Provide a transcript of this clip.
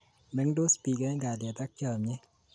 Mengtos bik eng kalyet ak chomyet